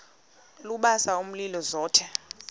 lubasa umlilo zothe